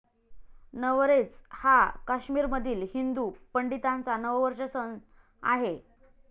नवरेच हा काश्मीरमधील हिंदू पंडितांचा नववर्ष सण आहे.